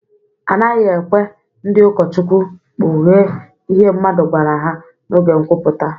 A naghị ekwe ndị ụkọchukwu kpughee ihe mmadụ gwara ha n’oge nkwuputa.